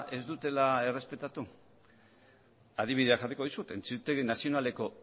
ez dutela errespetatu adibidea jarriko dizut auzitegi nazionaleko